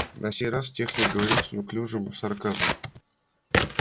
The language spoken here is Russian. на сей раз техник говорил с неуклюжим сарказмом